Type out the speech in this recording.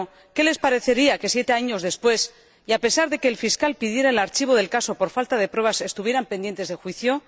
Pero ¿qué les parecería que siete años después, a pesar de que el fiscal pidiera el archivo del caso por falta de pruebas, estuvieran pendientes de juicio?